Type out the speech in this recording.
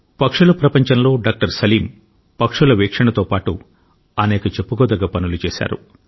పక్షుల ప్రపంచంలో డాక్టర్ సలీం పక్షుల వీక్షణతో పాటు అనేక చెప్పుకోదగ్గ పనులు చేశారు